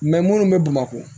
minnu bɛ bamakɔ